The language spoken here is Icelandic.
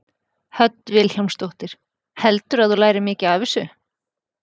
Hödd Vilhjálmsdóttir: Heldurðu að þú lærir mikið af þessu?